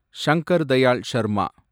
Shankar Dayal Sharma